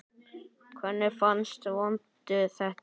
Hvernig fannst Vöndu þetta?